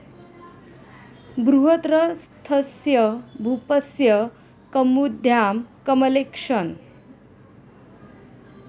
बृहद्रथस्य भूपस्य कौमुद्याम कमलेक्शन